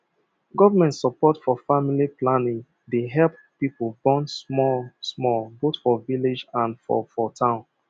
government support for family planning dey help people born small smallboth for village and for for town